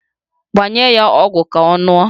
Gbanye ya ọgwụ ka ọ ṅụọ